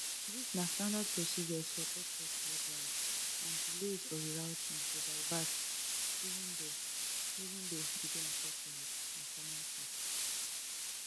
dis na standard procedures for airports worldwide and delays or rerouting to divert even though even though e dey unfortunate na common tin